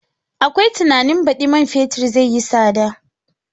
Akwai tunanin baɗi man fetur zai yi tsada.